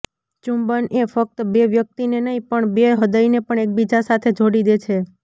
ચુંબન એ ફક્ત બે વ્યક્તિને નહીં પણ બે હૃદયને પણ એકબીજા સાથે જોડી દે છે